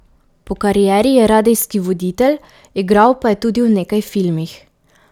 Po karieri je radijski voditelj, igral pa je tudi v nekaj filmih.